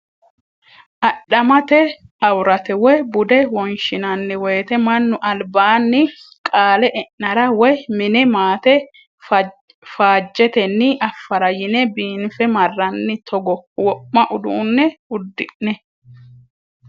Adhamate amurate woyi bude wonshinanni woyte mannu albaani qaale e'nara woyi mine maate faajetenni affara yine biinfe marranni togo wo'ma uduune uddi'ne.